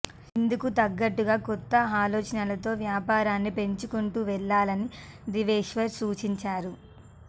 ఇందుకు తగ్గట్లుగా కొత్త ఆలోచనలతో వ్యాపారాన్ని పెంచుకుంటూ వెళ్లాలని దేవేశ్వర్ సూచించారు